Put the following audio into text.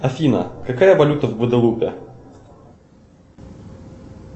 афина какая валюта в гваделупе